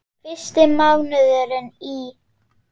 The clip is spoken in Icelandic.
Fyrstu mánuðir í